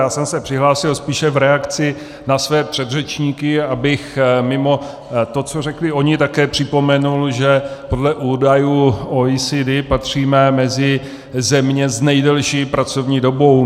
Já jsem se přihlásil spíše v reakci na své předřečníky, abych mimo to, co řekli oni, také připomenul, že podle údajů OECD patříme mezi země s nejdelší pracovní dobou.